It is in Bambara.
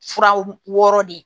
Furaw wɔɔrɔ de